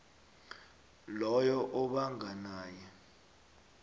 lowo obanga naye